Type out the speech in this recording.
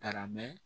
Taara mɛn